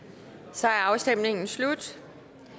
så er afstemningen slut